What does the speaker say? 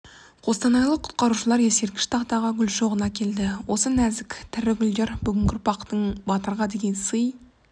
қостанайлық құтқарушылар ескерткіш тақтаға гүл шоғын әкелді осы нәзік тірі гүлдер бүгінгі ұрпақтың батырға деген сый